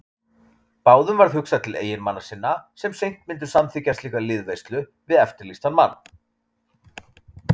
Báðum varð hugsað til eiginmanna sinna sem seint myndu samþykkja slíka liðveislu við eftirlýstan mann.